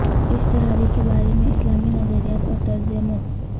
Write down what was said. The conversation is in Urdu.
اشتہاری کے بارے میں اسلامی نظریات اور طرز عمل